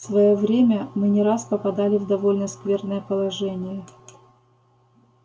в своё время мы не раз попадали в довольно скверное положение